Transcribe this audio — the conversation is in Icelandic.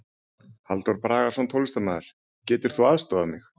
Halldór Bragason, tónlistarmaður: Getur þú aðstoðað mig?